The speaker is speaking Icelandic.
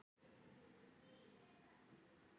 Ég tók það bara á mig.